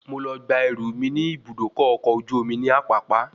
Mo lọ gba ẹrú mí ní Ibùdókọ̀ ọkọ̀ ojú omi ní Apapa